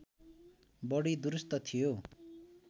बढी दुरूस्त थियो